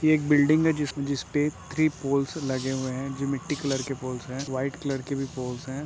ये एक बिल्डिंग है जिस-जिसपे थ्री पोल्स लगे हुए हैं जो मिट्टी क्लर के पोल्स है। वाइट कलर के भी पोल्स हैं।